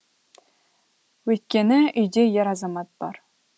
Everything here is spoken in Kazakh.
өйткені үйде ер азамат бар